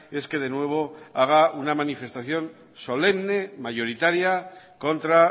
es que de nuevo haga una manifestación solemne mayoritaria contra